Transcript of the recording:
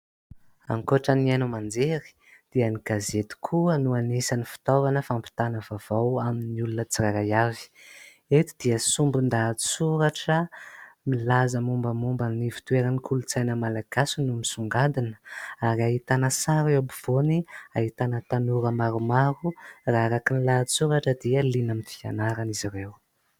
Ankoatran'ny haino aman-jery dia ny gazety koa no anisan'ny fitaovana fampitana vavao amin'ny olona tsirairay avy. Eto dia sombin-dahatsoratra milaza mombamomban'ny fitoeran'ny kolontsaina Malagasy no misongadina ; ary ahitana sary eo ampovoany, ahitana tanora maromaro. Raha araka ny lahasoratra dia liana amin'ny fianarana izy ireo.